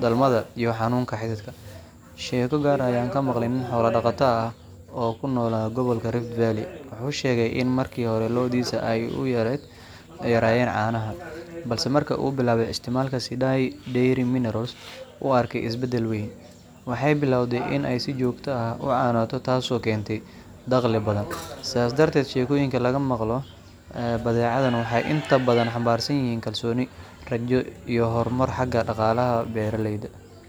dhalmada iyo xanuunnada xididka. Sheeko gaar ah ayaan maqlay, nin xoolo dhaqato ah oo ku noolaa gobolka Rift Valley wuxuu sheegay in markii hore lo’diisu ay aad u yaraayeen caanaha, balse markii uu bilaabay isticmaalka Sidai Dairy Mineral s, uu arkay isbeddel weyn—waxay bilowday in ay si joogto ah u caanooto, taasoo keentay dakhli badan. Sidaas darteed, sheekooyinka laga maqlo badeecadan waxay inta badan xambaarsan yihiin kalsooni, rajo, iyo horumar xagga dhaqaalaha beeraleyda.